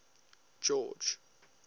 george